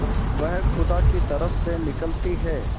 वह खुदा की तरफ से निकलती है